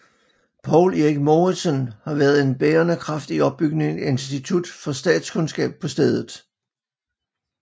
Poul Erik Mouritzen været en bærende kraft i opbygningen af Institut for Statskundskab på stedet